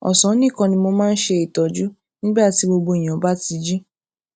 ọsán nìkan ni mo máa ń ṣe ìtọjú nígbà tí gbogbo ènìyàn bá ti jí